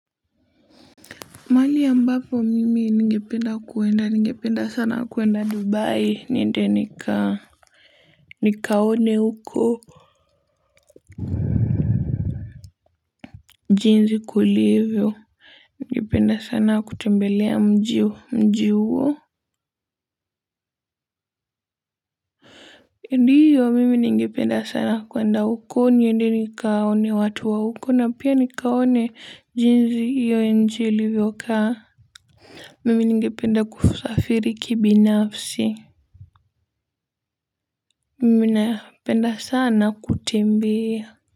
Mahali ya mbapo mimi ningependa kuenda ningependa sana kuenda dubai nende nika nikaone uko. Njinzi kulivyo. Ngependa sana kutembelea mjiwo mjiwo. Ndiyo mimi ningependa sana kuenda uko niende nikaone watu wa uko na pia nikaone jinzi iyo njilivyo kaa. Mimi ningependa kusafiri kibinafsi. Mimi napenda sana kutembea.